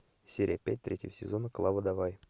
серия пять третьего сезона клава давай